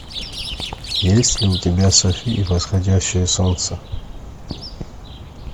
есть ли у тебя софи и восходящее солнце